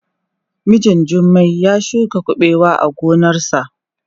Mijin Jummai ya shuka kuɓewa a gonarsa.